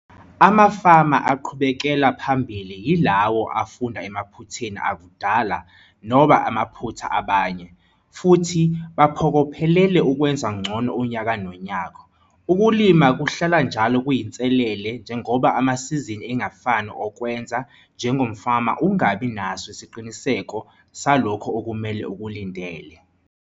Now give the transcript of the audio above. Amafama aqhubekela phambili yilawo afunda emaphutheni akudala, noma amaphutha abany, futhi baphokophelele ukwenza ngcono unyaka nonyaka. Ukulima kuhlala njalo kuyinselele njengoba amasizini engafani okwenza njengomfama ungabi naso isiqiniseko saloko okumele ukulindele.